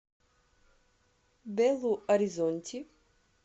белу оризонти